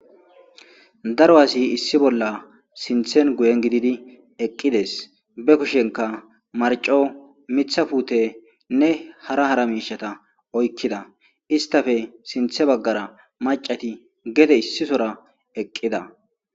Daro asi issi bolla sinthen guyen gididi eqqides be kushenka marco mitha puute ne hara hara miishata oykkida istafe sinthe baggara macati gete issisora eqqida.